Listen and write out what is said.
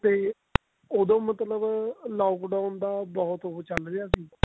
ਤੇ ਉਦੋਂ ਮਤਲਬ lockdown ਦਾ ਬਹੁਤ ਉਹ ਚੱਲ ਰਿਹਾ ਸੀ